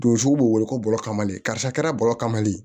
Donso b'o wele ko bɔgɔ kamalen karisa kɛra bɔrɔ kaman le ye